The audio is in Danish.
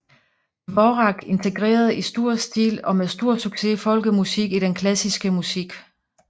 Dvořák integrerede i stor stil og med stor succes folkemusik i den klassiske musik